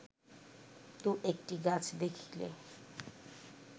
দু-একটি গাছ দেখিলে